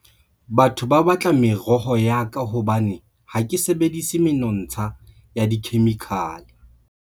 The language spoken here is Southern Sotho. Batho ba batla meroho ya ka hobane ha ke sebedisi menontsha ya dikhemikhale.